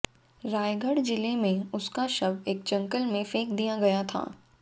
रायगढ़ जिले में उसका शव एक जंगल में फेंक दिया गया था